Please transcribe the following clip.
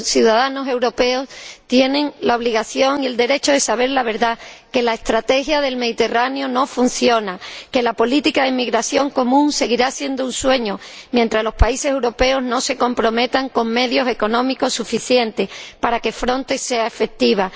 Los ciudadanos europeos tienen la obligación y el derecho de saber la verdad que la Estrategia del Mediterráneo no funciona, que la política de inmigración común seguirá siendo un sueño mientras los países europeos no se comprometan con medios económicos suficientes para que Frontex tenga efectividad.